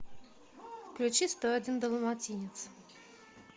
включи сто один далматинец